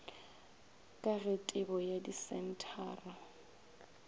ka ge tebo ya disenthara